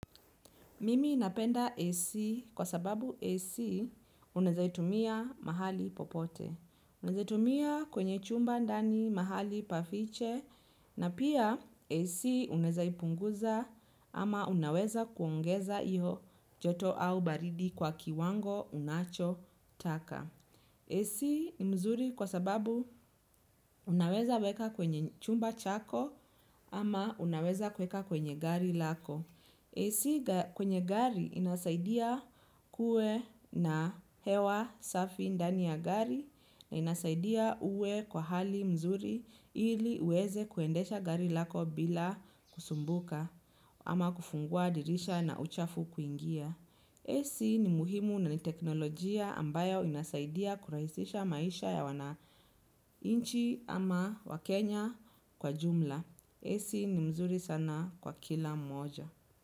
Mimi napenda AC kwa sababu AC unaeza itumia mahali popote. Unaeza tumia kwenye chumba ndani mahali pa fiche na pia AC unaeza ipunguza ama unaweza kuongeza hiyo joto au baridi kwa kiwango unachotaka AC ni mzuri kwa sababu unaweza kuweka kwenye chumba chako ama unaweza kueka kwenye gari lako AC kwenye gari inasaidia kuwe na hewa safi ndani ya gari na inasaidia uwe kwa hali mzuri ili uweze kuendesha gari lako bila kusumbuka ama kufungua dirisha na uchafu kuingia. AC ni muhimu na ni teknolojia ambayo inasaidia kurahisisha maisha ya wanainchi ama wakenya kwa jumla. AC ni mzuri sana kwa kila mmoja.